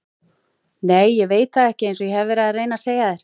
Nei ég veit það ekki einsog ég hef verið að reyna að segja þér.